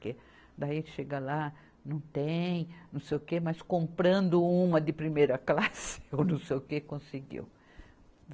Que daí chega lá, não tem, não sei o quê, mas comprando uma de primeira classe ou não sei o quê, conseguiu.